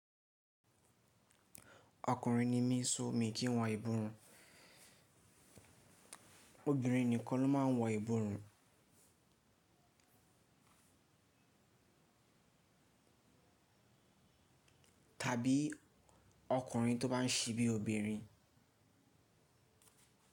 Ọkùnrin ni mí so mí kí n wọ ìborùn. Obìnrin nìkan ló máa ń wọ ìborùn tàbí ọkùnrin tó bá ń ṣe bí obìnrin.